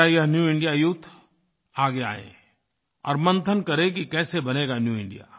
मेरा यह new India youth आगे आए और मंथन करे कि कैसे बनेगा न्यू इंडिया